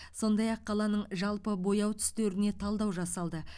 сондай ақ қаланың жалпы бояу түстеріне талдау жасалды